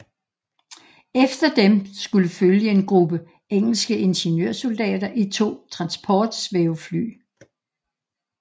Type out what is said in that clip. Efter dem skulle følge en gruppe engelske ingeniørsoldater i to transportsvævefly